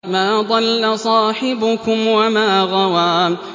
مَا ضَلَّ صَاحِبُكُمْ وَمَا غَوَىٰ